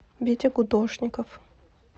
витя гудошников